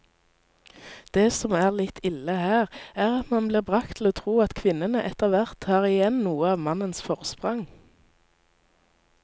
Det som er litt ille her, er at man blir bragt til å tro at kvinnene etterhvert tar igjen noe av mannens forsprang.